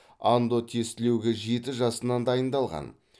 андо тестілеуге жеті жасынан дайындалған